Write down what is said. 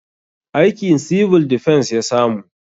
Aikin 'Civil Defence' ya samu